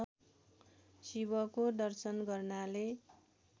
शिवको दर्शन गर्नाले